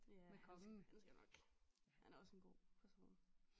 Ja han skal han skal nok han er ogå en god person